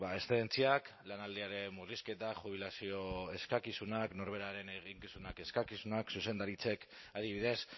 eszedentziak lanaldiaren murrizketa jubilazio eskakizunak norberaren eginkizunak eskakizunak zuzendaritzek adibidez